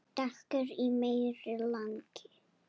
Dekur í meira lagi.